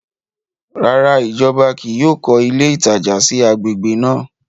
Ràrá, ìjọba kìí yóò kọ ilé ìtajà sí agbègbè náà